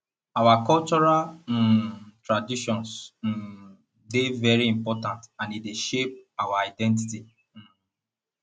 our cultural um traditions um dey very important and e dey shape our identity um